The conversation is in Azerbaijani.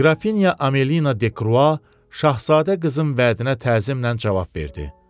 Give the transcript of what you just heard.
Qrafinya Amelina Dekrua Şahzadə qızın vədinə təzimnən cavab verdi.